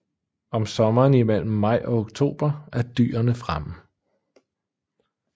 Om sommeren imellem maj og oktober er dyrene fremme